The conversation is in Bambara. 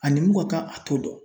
Ani mun ka kan a t'o dɔn.